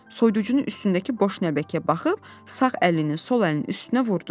Soyuducunun üstündəki boş nəlbəkiyə baxıb, sağ əlini sol əlinin üstünə vurdu.